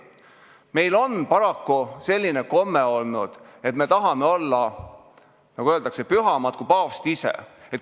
Meil on paraku olnud selline komme, et me tahame olla, nagu öeldakse, pühamad kui paavst ise.